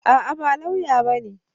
A'a, ba lauya bane.